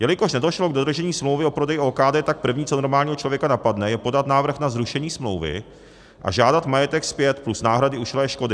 Jelikož nedošlo k dodržení smlouvy o prodeji OKD, tak první, co normálního člověka napadne, je podat návrh na zrušení smlouvy a žádat majetek zpět plus náhrady ušlé škody.